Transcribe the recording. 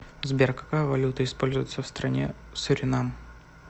сбер какая валюта используется в стране суринам